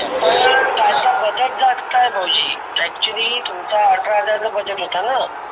तर त्याच बजेट जास्त आहे भाऊजी. actually तुमचा अठरा हजार बजेट होतान.